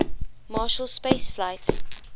marshall space flight